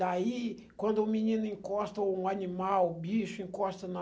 Daí, quando o menino encosta o animal, o bicho encosta na...